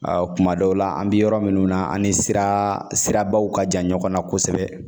kuma dɔw la an bi yɔrɔ minnu na an ni siraa sirabaw ka jan ɲɔgɔn na kosɛbɛ